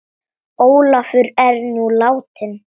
Ólafur er nú látinn.